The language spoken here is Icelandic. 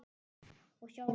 Og sjálfum mér.